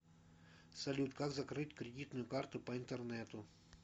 салют как закрыть кредитную карту по интернету